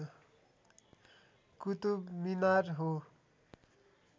कुतुब मिनार हो